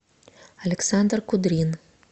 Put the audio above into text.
александр кудрин